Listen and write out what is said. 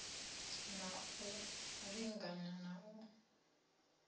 na u linga na u